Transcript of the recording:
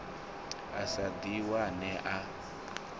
a sa ḓi wane a